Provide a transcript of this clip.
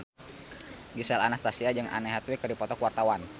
Gisel Anastasia jeung Anne Hathaway keur dipoto ku wartawan